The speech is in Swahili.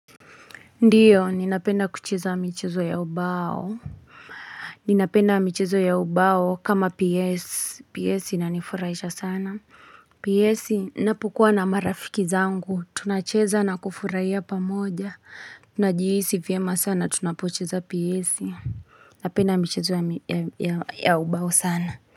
Ndiyo, ninapenda kucheza michezo ya ubao. Ninapenda michezo ya ubao kama PS PS inifurahisha sana. PS napokuwa na marafiki zangu. Tunacheza na kufurahia pamoja. Tunajihisi vyema sana. Tunapocheza pyesi. Napenda michezo ya ubao sana.